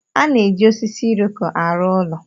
A na-eji osisi Iroko arụ ụlọ.